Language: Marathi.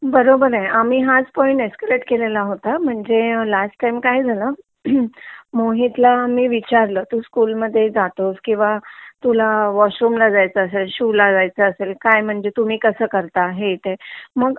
बरोबर आहे आम्ही हाच पॉइंट एसकलेट केलेला होता म्हणजे लास्ट टाइम काय झाल मोहित ला मी विचारलं तू स्कूल मध्ये जातोस किंवा तुला वॉशरूम ला जायच असेल शू ला जायच असेल तर काय तुम्ही कसं करता मग